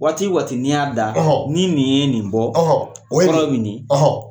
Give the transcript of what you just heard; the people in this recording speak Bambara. Waati waati ni y'a da, ni nin ye nin bɔ, o krɔ ye nin di.